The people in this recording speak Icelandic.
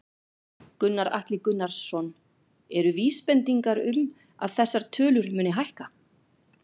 Gunnar Atli Gunnarsson: Eru vísbendingar um að þessar tölur muni hækka?